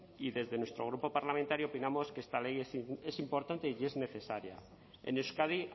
y desde nuestro grupo parlamentario opinamos que esta ley es importante y es necesaria en euskadi